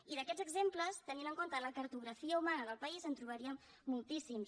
i d’aquests exemples tenint en compte la cartografia humana del país en trobaríem moltíssims